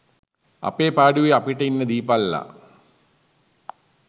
අපේ පාඩුවේ අපිට ඉන්න දීපල්ලා